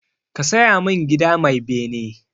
Ka saya min gida mai bene!